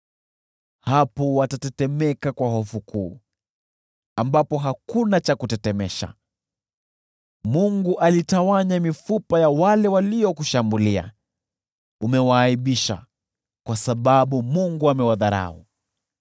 Hapo waliingiwa na hofu kuu, ambapo hapakuwa cha kutetemesha. Mungu alitawanya mifupa ya wale waliokushambulia; uliwaaibisha, kwa sababu Mungu aliwadharau.